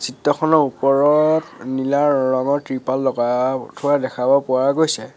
Photo খনৰ ওপৰত নীলা ৰঙৰ তৃপাল লগা থোৱা দেখাব পৰা গৈছে।